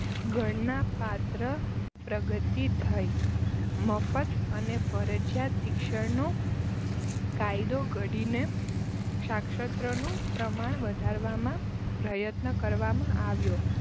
ગણના પાત્ર પ્રગતિ થઈ મફત અને ફરજીયાત શિક્ષણનો કાયદો ઘડી ને સાકસત્રનું પ્રમાણ વધારવામાં પ્રયત્ન કરવામાં આવ્યો